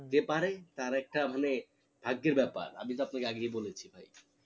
হম হম যে পারেন তার একটা মানে ভাগ্যের ব্যাপার আমি তো আপনাকে আগেই বলেছি ভাই